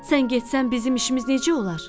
Sən getsən bizim işimiz necə olar?